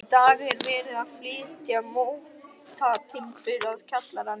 Í dag er verið að flytja mótatimbur að kjallaranum.